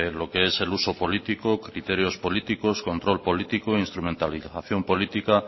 lo qué es uso político criterios políticos control político e instrumentalización política